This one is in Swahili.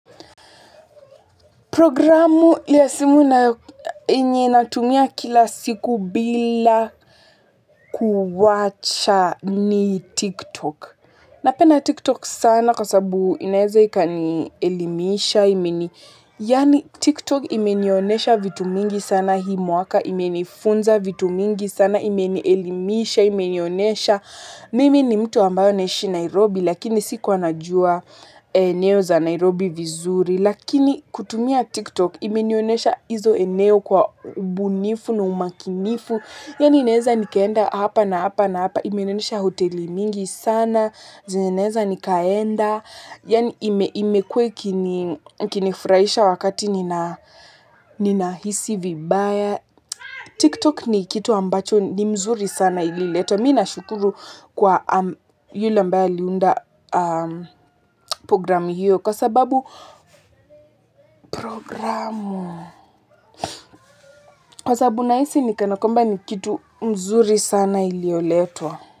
Programu ya simu nayo yenye natumia kila siku bila kuwacha ni TikTok. Napenda TikTok sana kwa sababu inaeza ikanielimisha. Yaani TikTok imenionyesha vitu mingi sana hii mwaka, imenifunza vitu mingi sana, imenielimisha, imenionesha. Mimi ni mtu ambayo naishi Nairobi lakini sikua najua eneo za Nairobi vizuri. Lakini kutumia tiktok imenionyesha hizo eneo kwa ubunifu na umakinifu. Yaani inaeza nikaenda hapa na hapa na hapa. Imenionyesha hoteli mingi sana. Zenye naeza nikaenda. Yaani imekuwa ikinifuraisha wakati ninahisi vibaya. Tiktok ni kitu ambacho ni mzuri sana ililetwa. Mimi ninashukuru kwa yule ambayo aliunda program hiyo. Kwa sababu programu. Kwa sababu nahisi ni kana kwamba ni kitu mzuri sana iliyoletwa.